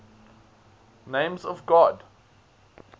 names of god